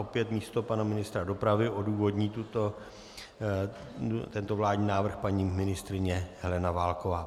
Opět místo pana ministra dopravy odůvodní tento vládní návrh paní ministryně Helena Válková.